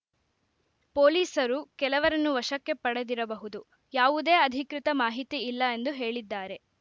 ಪೊಲೀಸರು ಕೆಲವರನ್ನು ವಶಕ್ಕೆ ಪಡೆದಿರಬಹುದು ಯಾವುದೇ ಅಧಿಕೃತ ಮಾಹಿತಿ ಇಲ್ಲ ಎಂದು ಹೇಳಿದ್ದಾರೆ